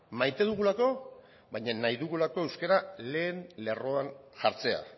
maite dugulako baina nahi dugulako euskara lehen lerroan jartzea